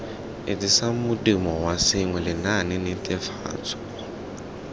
etsisang modumo wa sengwe lenaanenetefatso